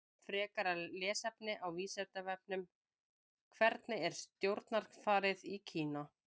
Frekara lesefni á Vísindavefnum: Hvernig er stjórnarfarið í Kína?